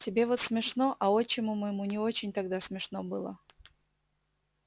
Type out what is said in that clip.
тебе вот смешно а отчиму моему не очень тогда смешно было